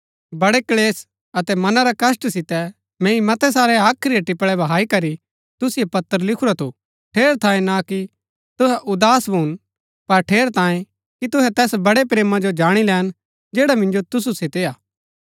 बड़ै क्‍लेश अतै मना रै कष्‍ट सितै मैंई मतै सारै हाख्री रै टिपळै बहाई करी तुसिओ पत्र लिखुरा थु ठेरैतांये ना कि तुहै उदास भून पर ठेरैतांये कि तुहै तैस बड़ै प्रेमा जो जाणी लैन जैडा मिन्जो तुसु सितै हा